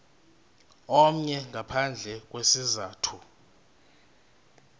omnye ngaphandle kwesizathu